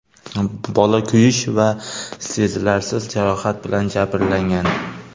Bola kuyish va sezilarsiz jarohat bilan jabrlangan.